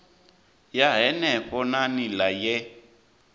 ya henefho na nila ye